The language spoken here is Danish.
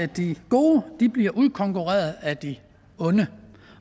de gode bliver udkonkurreret af de onde